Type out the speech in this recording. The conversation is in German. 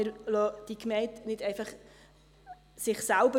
Wir überlassen diese Gemeinde nicht einfach sich selber.